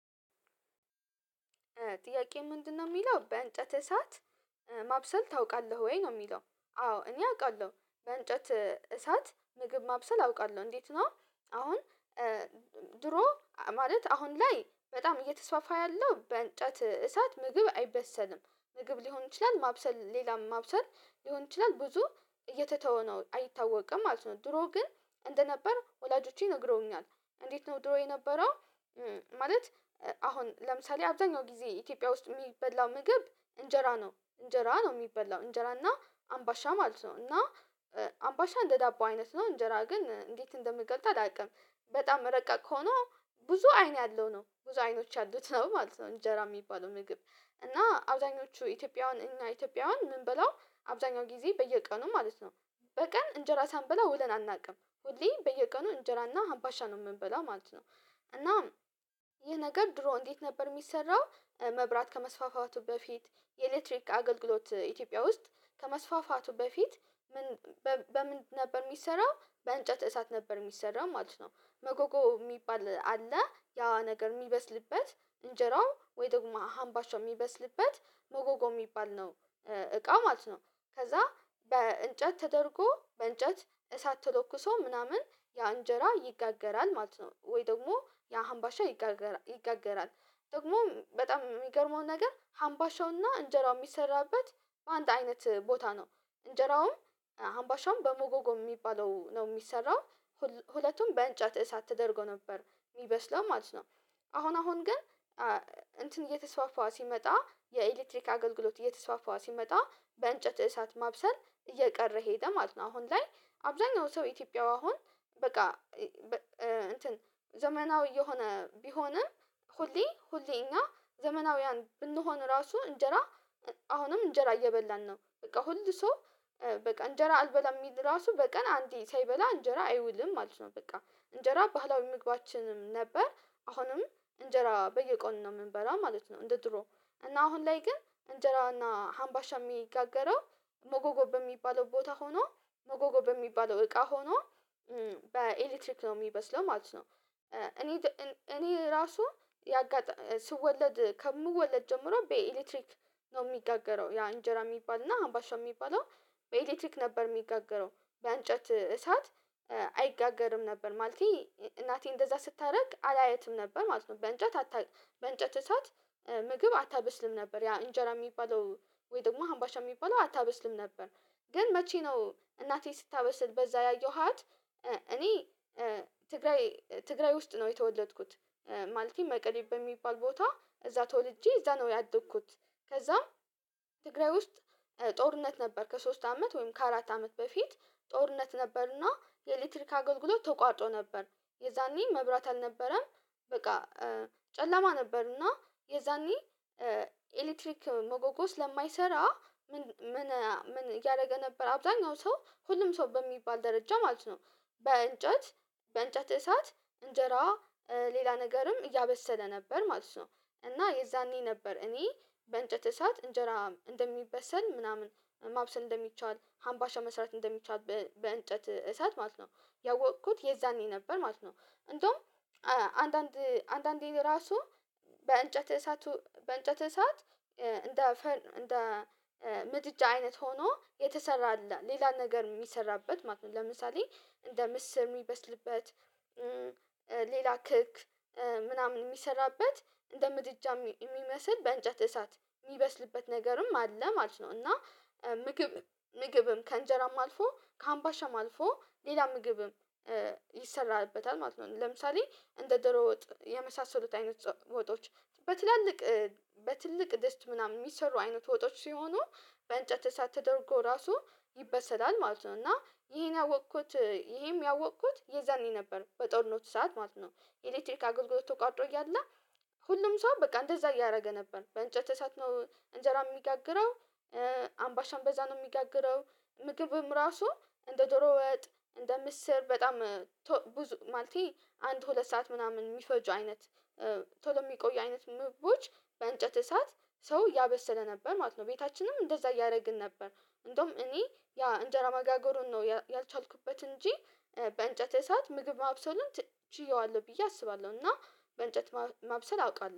ጥያቄ ምንድነው የሚለው በእንጨት እሳት ማብሰል ታውቃለህ ወይ ነው የሚለው? አዎ እኔ አውቃለሁ በእንጨት እሳት ምግብ ማብሰል አውቃለሁ። እንዴት ነው? አሁን ድሮ ማለት አሁን ላይ በጣም እየተስፋፋ ያለው በእንጨት እሳት ምግብ አይበሰልም ምግብ ሊሆን ይችላል ማብሰል ሌላም ማብሰል ሊሆን ይችላል ብዙ እየተተወነው አይታወቅም ማለት ነው። ድሮ ግን እንደነበር ወላጆቼ ነግረውኛል እንዴት ነው ድሮ የነበረው? ማለት አሁን ለምሳሌ አብዛኛው ጊዜ ኢትዮጵያ ውስጥ የሚበላው ምግብ እንጀራ ነው። እንጀራ ነው የሚበላው እንጀራ እና አምባሻ ማለት ነው። እና አምባሻ እንደ ዳቦ አይነት ነው። እንጀራ ግን እንዴት እንደምንገልጥ አላውቅም። በጣም ረቀቅ ከሆነ ብዙ አይን ያለው ነው ብዙ አይኖች ያሉት ነው ማለት ነው። እንጀራ የሚባለው ምግብ እና አብዛኞቹ ኢትዮጵያውያን እና ኢትዮጵያውያን ምን በላው አብዛኛው ጊዜ በየቀኑ ማለት ነው። በቀን እንጀራ ሳንበላ ውለን አናውቅም ሁሌ በየቀኑ እንጀራና አባሻ ነው የምንበላው ማለት ነው። እና ይሄ ነገር ድሮ እንዴት ነበር የሚሰራው? መብራት ከመስፋፋቱ በፊት የኤሌክትሪክ አገልግሎት ኢትዮጵያ ውስጥ ከመስፋፋቱ በፊት በምን ነበር የሚሰራው በእንጨት እሳት ነበር የሚሰራው ማለት ነው። መጎጎ የሚባል አለ ያዋ ነገር የሚበስልበት እንጀራው ወይ ደግሞ ሀምባሻው የሚበስልበት መጎጎ የሚባል ነው። እቃ ማለት ነው። ከዛ በእንጨት ተደርጎ በእንጨት እሳት ተለኩሶ ምናምን ያ እንጀራ ይጋገራል ማለት ነው። ወይ ደግሞ ያ አምባሻ ይጋገራል። ደግሞ በጣም የሚገርመው ነገር ሀምባሻውና እንጀራው የሚሰራበት በአንድ አይነት ቦታ ነው። እንጀራውም አምባሻውም በሞጎጎ የሚባለው ነው የሚሰራው። ሁለቱም በእንጨት እሳት ተደርጎ ነበር የሚበስለው ማለት ነው። አሁን አሁን ግን እንትን እየተስፋፋ ሲመጣ የኤሌክትሪክ አገልግሎት እየተስፋፋው ሲመጣ በእንጨት እሳት ማብሰል እየቀረ ሄደ ማለት ነው። አሁን ላይ አብዛኛው ሰው ኢትዮጵያው አሁን በቃ እንትን ዘመናዊ የሆነ ቢሆንም ሁሌ ሁሌኛ ዘመናውያን ብንሆን ራሱ እንጀራ አሁንም እንጀራ እየበላን ነው። በቃ ሁል ሰው በቃ እንጀራ አልበላም የሚል ራሱ በቀን አንተ ሳይበላ እንጀራ አይውልም ማለት ነው። በቃ እንጀራ ባህላዊ ምግባችንም ነበር አሁንም እንጀራ በየቆን ነው የምንበላው ማለት ነው። እንደ ድሮ እና አሁን ላይ ግን እንጀራና ሀምባሻ የሚጋገረው ሞጎጎ በሚባለው ቦታ ሆኗል። ሞጎጎ በሚባለው እቃ ሆኖ በኤሌክትሪክ ነው የሚበስለው። ማለት እኔ እኔ ራሱ ስወለድ ከምወለድ ጀምሮ በኤሌክትሪክ ነው የሚጋገረው ያ እንጀራ የሚባል እና አምባሻ የሚባለው። በኤሌክትሪክ ነበር የሚጋገረው በአንጨት እሳት አይጋገርም ነበር ማለቴ እናቴ እንደዛ ስታደርግ አላየትም ነበር ማለት ነው። በእንጨት አታ በእንጨት እሳት ምግብ አታብስልም ነበር ያ እንጀራ የሚባለው ወይ ደግሞ አምባሻ የሚባለው አታበስልም ነበር። ግን መቼ ነው እናቴ ስታበስል በዛ ያየኋት? እኔ ትግራይ ትግራይ ውስጥ ነው የተወለድኩት። ማልቲም መቀደብ በሚባል ቦታ እዛ ተወልጄ እዛ ነው ያደግኩት። ከዛም ትግራይ ውስጥ ጦርነት ነበር ከሶስት አመት ወይም ከአራት አመት በፊት ጦርነት ነበርና የኤሌክትሪክ አገልግሎት ተቋጮ ነበር። የዛኔ መብራት አልነበረም። በቃ ጨለማ ነበር። እና የዛኔ ኤሌክትሪክ መጎጎ ስለማይሰራ ምን ምን ያረገ ነበር አብዛኛው ሰው ሁሉም ሰው በሚባል ደረጃ ማለት ነው። በእንጨት በእንጨት እሳት እንጀራ ሌላ ነገርም እያበሰለ ነበር ማለት ነው። እና የዛኔ ነበር እኔ በእንጨት እሳት እንጀራ እንደሚበሰል ምናምን ማብሰል እንደሚቻል ሀምባሻ መስራት እንደሚቻል በእንጨት እሰት ማለት ነው። ያወቅኩት የዛኔ ነበር ማለት ነው። እንደውም አንዳንድ አንዳንዴ ራሱ በእንጨት እሳቱ በእንጨት እሳት እንደ እንደ ምድጃ አይነት ሆኖ የተሰራ ሌላ ነገር የሚሰራበት ማለት ነው። ለምሳሌ እንደ ምስር የሚበስልበት። ሌላ ክክ ምናምን የሚሰራበት እንደ ምድጃ የሚመስል በእንጨት እሳት የሚበስልበት ነገርም አለ ማለት ነው። እና ምግብ ምግብም ከእንጀራም አልፎ ከአምባሻም አልፎ ሌላ ምግብም ይሰራልበታል ማለት ነው። ለምሳሌ እንደ ድሮ ወጥ የመሳሰሉት አይነት ወጦች በትላልቅ በትልቅ ደስት ምናምን የሚሰሩ አይነት ወጦች ሲሆኑ በእንጨት እሳት ተደርጎ ራሱ ይበሰላል ማለት ነው። እና ይሄን ያወቅኩት ይሄም ያወቅኩት የዘኔ ነበር በጦርነት ሰዓት ማለት ነው። ኤሌክትሪክ አገልግሎት ተቋጥሮ እያለ ሁሉም ሰው በቃ እንደዛ እያደረገ ነበር በእንጨት እሳት ነው እንጀራ የሚጋግረው። አምባሻም በዛ ነው የሚጋግረው። ምግብም ራሱ እንደ ዶሮ ወጥ እንደ ምስር በጣም ብዙ ማለቴ አንድ ሁለት ሰዓት ምናምን የሚፈጁ አይነት ቶሎ የሚቆዩ አይነት ምግቦች በእንጨት እሳት ሰው ያበሰለ ነበር ማለት ነው። ቤታችንም እንደዛ እያደረግን ነበር። እንደውም እኔ ያ እንጀራ ማጋገሩን ነው ያልቻልኩበት እንጂ በእንጨት እሳት ምግብ ማብሰሉን ችየዋለሁ ብዬ አስባለሁ። እና በእንጨት ማብሰል አውቃለሁ